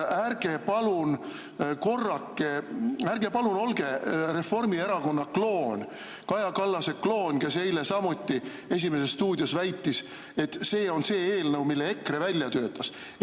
Ärge palun olge Reformierakonna kloon, Kaja Kallase kloon, kes eile "Esimeses stuudios" samuti väitis, et see on see eelnõu, mille EKRE välja töötas.